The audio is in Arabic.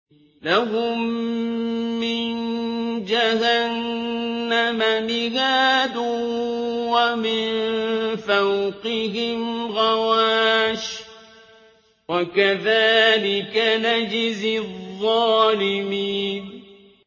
لَهُم مِّن جَهَنَّمَ مِهَادٌ وَمِن فَوْقِهِمْ غَوَاشٍ ۚ وَكَذَٰلِكَ نَجْزِي الظَّالِمِينَ